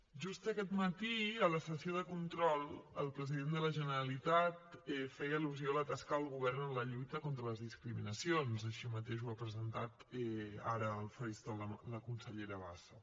just aquest matí a la sessió de control el president de la generalitat feia al·lusió a la tasca del govern en la lluita contra les discriminacions així mateix ho ha presentat ara al faristol la consellera bassa